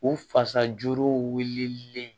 U fasa jolilen